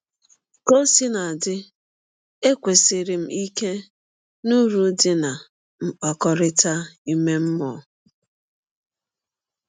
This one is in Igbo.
Ka ọ sina dị, ekwenyesiri m ike n’ụrụ dị ná mkpakọrịta ime mmụọ.